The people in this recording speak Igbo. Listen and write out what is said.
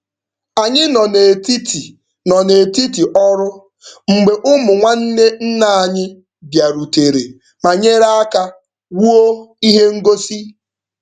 Anyị nọ n'etiti nọ n'etiti ọrụ mgbe ụmụ nwanne nna anyị bịarutere ma nyere aka wuo ihe ngosi.